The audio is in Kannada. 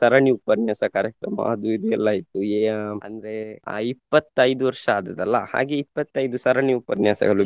ಸರಣಿ ಉಪನ್ಯಾಸ ಕಾರ್ಯಕ್ರಮ ಅದು ಇದು ಎಲ್ಲ ಇತ್ತು ಏ ಅಂದ್ರೆ ಅಹ್ ಇಪ್ಪತೈದು ವರ್ಷ ಆದದ್ದಲ್ಲ ಹಾಗೆ ಇಪ್ಪತೈದು ಸರಣಿ ಉಪನ್ಯಾಸಗಳು.